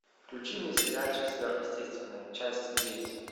включи мне сериальчик сверхъестественное часть девять